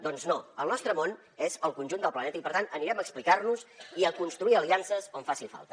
doncs no el nostre món és el conjunt del planeta i per tant anirem a explicar nos i a construir aliances on faci falta